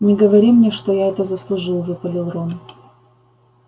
не говори мне что я это заслужил выпалил рон